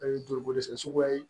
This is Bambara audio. O ye joli ko dɛsɛ suguya ye